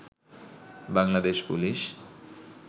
Bangladesh police